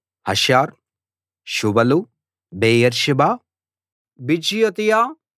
హసర్ షువలు బెయేర్షెబా బిజియోతియా